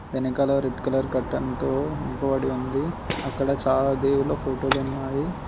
వెనకాల red colour కర్టన్తో ఉంది అక్కడ చాలా దేవుళ్ళ ఫోటోలున్నాయి .